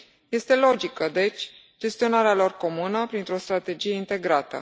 Este logică deci gestionarea lor comună printr o strategie integrată.